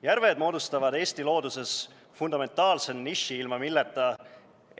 Järved moodustavad Eesti looduses fundamentaalse niši, ilma milleta